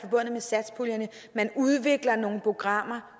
udvikles nogle programmer